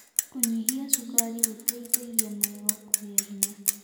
Kũnyĩhĩa cũkarĩ gũteĩthagĩa magego kũgĩa hinya